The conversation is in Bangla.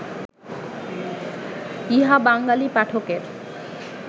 ইহা বাঙ্গালী পাঠকের